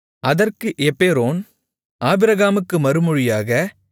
அதற்கு எப்பெரோன் ஆபிரகாமுக்கு மறுமொழியாக